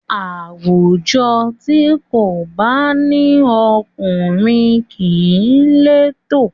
Àwùjọ tí kò bá ní ọkùnrin kìí létò